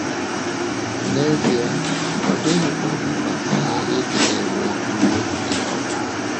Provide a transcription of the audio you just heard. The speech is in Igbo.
N’ezie, ọ dịghịkwa mkpa anyị ịdị ‘ na - ewe iwe dị ọkụ. ’